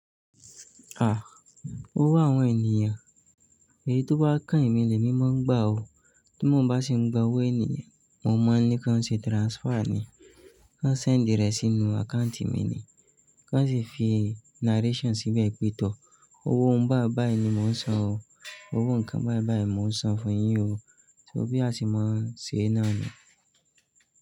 Owó àwọn ènìyàn. Èyí tó bá kan emí lẹ̀ mi máa ń gbà ó. Tí mo bá sì ń gba owó ènìyàn, mo máa ń ní kí wọ́n ṣe transfer ni. Kò send rẹ̀ sínú account mi ni. Kó sì fi narration síbẹ̀ pé tọ̀. Owó ń bá báyìí ni mò ń sọn o. Owó nǹkan báyìí báyìí mò ń sọn fún yín o. Ṣó bí a se máa ń ṣe náà ni?